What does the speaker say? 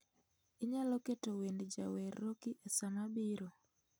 Inyalo keto wend jawer Roki esaa mabiro